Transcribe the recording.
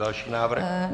Další návrh.